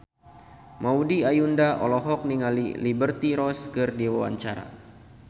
Maudy Ayunda olohok ningali Liberty Ross keur diwawancara